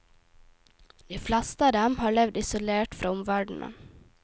De fleste av dem har levd isolert fra omverdenen.